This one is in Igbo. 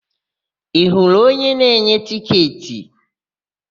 Ị hụrụ onye na-enye tịketị?